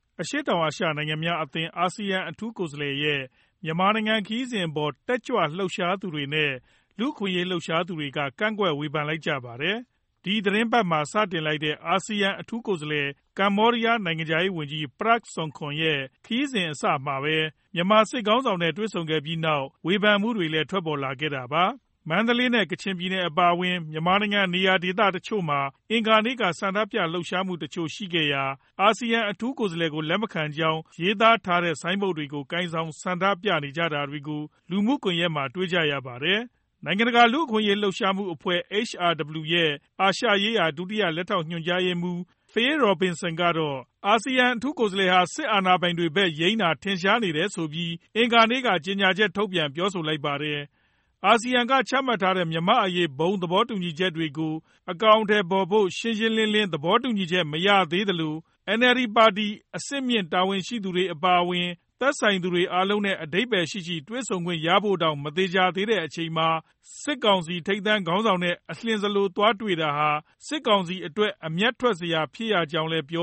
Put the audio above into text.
အရှေ့တောင်အာရှ နိုင်ငံများအသင်း အာဆီယံ အထူးကိုယ်စားလှယ်ရဲ့ မြန်မာနိုင်ငံ ခရီးစဉ်အပေါ် တက်ကြွလှုပ်ရှားသူတွေနဲ့ လူ့အခွင့်အရေး လှုပ်ရှားသူတွေက ကန့်ကွက်ဝေဖန်လိုက်ကြပါတယ်။ ဒီသီတင်းပတ်မှာ စတင်လိုက်တဲ့ အာဆီယံအထူးကိုယ်စားလှယ် ကမ္ဘောဒီးယား နိုင်ငံခြားရေးဝန်ကြီး Prak Sokhonn ရဲ့ ခရီးစဉ်အစမှာပဲ မြန်မာစစ်ခေါင်းဆောင်နဲ့ တွေ့ဆုံခဲ့ပြီးနောက် ဝေဖန်မှုတွေလည်း ထွက်ပေါ်လာခဲ့တာပါ။ မန္တလေးနဲ့ ကချင်ပြည်နယ် အပါအဝင် မြန်မာနိုင်ငံ နေရာတချို့မှာ အင်္ဂါနေ့က ဆန္ဒပြလှုပ်ရှားမှုတချို့ ရှိခဲ့ရာမှာ အာဆီယံ အထူးကိုယ်စားလှယ်ကို လက်မခံကြောင်း ရေးသားထားတဲ့ ဆိုင်းဘုတ်တွေကို ကိုင်ဆောင် ဆန္ဒပြခဲ့ကြတာတွေကို လူမှုကွန်ရက်မှာ တွေ့ကြရပါတယ်။ နိုင်ငံတကာ လူ့အခွင့်အရေး လှုပ်ရှားမှုအဖွဲ့ HRW ရဲ့ အာရှရေးရာ ဒုတိယညွှန်ကြားရေးမှူး Phil Robertson ကတော့ စစ်အာဏာပိုင်တွေဖက်ယိမ်းတာ ထင်ရှားနေတယ်ဆိုပြီး အင်္ဂါနေ့က ကြေညာချက်ထုတ်ပြန် ပြောဆိုလိုက်ပါတယ်။ အာဆီယံက ချမှတ်ထားတဲ့ မြန်မာ့အရေး ဘုံသဘောတူညီချက်တွေကို အကောင်အထည်ဖော်ဖို့ ရှင်းရှင်းလင်းလင်း သဘောတူညီချက် မရသေးသလို၊ NLD ပါတီ အဆင့်မြင့် တာဝန်ရှိသူတွေ အပါအဝင် သက်ဆိုင်သူ အားလုံးနဲ့ အဓိပ္ပါယ်ရှိရှိ တွေ့ဆုံခွင့် ရဖို့တောင် မသေချာသေးတဲ့ အချိန်မှာ စစ်ကောင်စီ ထိပ်တန်းခေါင်းဆောင်နဲ့ အလျင်စလို သွားတွေ့တာဟာ စစ်ကောင်စီအတွက် အမြတ်ထွက်စရာ ဖြစ်ရကြောင်းလည်း ပြ